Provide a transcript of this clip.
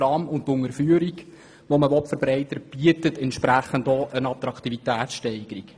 Die Unterführung, die verbreitert werden soll, bietet eine solche Attraktivitätssteigerung.